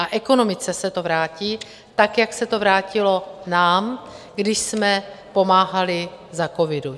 A ekonomice se to vrátí, tak jak se to vrátilo nám, když jsme pomáhali za covidu.